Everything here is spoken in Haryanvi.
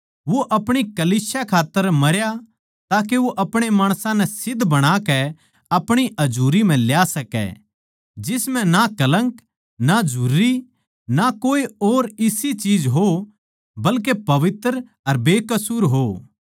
वो अपणी कलीसिया खात्तर मरया ताके वो अपणे माणसां नै सिध्द बणाकै आपणी हजुरी म्ह ल्या सकै जिस म्ह ना कलंक ना झुरी ना कोए और इसी चीज हो बल्के पवित्र अर बेकसूर हो